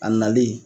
A nalen